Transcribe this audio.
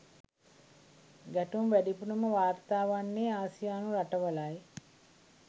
ගැටුම් වැඩිපුරම වාර්තා වන්නේ ආසියානු රටවලයි.